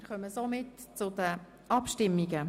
Wir kommen somit zu den Abstimmungen.